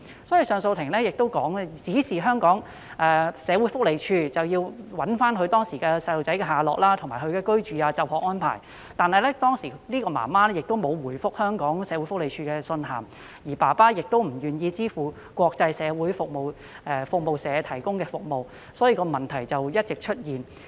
因此，上訴法庭亦指示香港社會福利署尋找他的子女當時的下落，以及對他們的居住和就學安排進行調查，但該名母親當時沒有回覆社署的信函，而父親亦不願意支付香港國際社會服務社提供的服務，因此，問題持續出現。